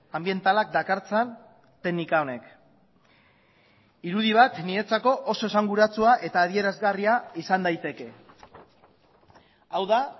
anbientalak dakartzan teknika honek irudi bat niretzako oso esanguratsua eta adierazgarria izan daiteke hau da